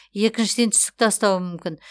екіншіден түсік тастауы мүмкін